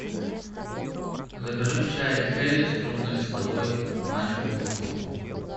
закажи чай хейлис крупнолистовой маленькую упаковку